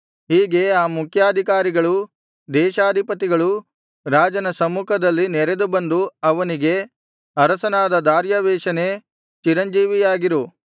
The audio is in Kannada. ಹೀಗೆ ಆ ಮುಖ್ಯಾಧಿಕಾರಿಗಳೂ ದೇಶಾಧಿಪತಿಗಳೂ ರಾಜನ ಸಮ್ಮುಖದಲ್ಲಿ ನೆರೆದುಬಂದು ಅವನಿಗೆ ಅರಸನಾದ ದಾರ್ಯಾವೆಷನೇ ಚಿರಂಜೀವಿಯಾಗಿರು